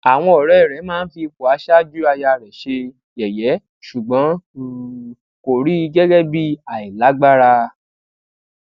àwọn òré rè máa ń fi ipò aṣáájú aya rè ṣe yèyé ṣùgbọn kò rí i gẹgẹ bí àìlágbára